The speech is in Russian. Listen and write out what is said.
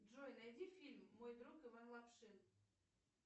джой найди фильм мой друг иван лапшин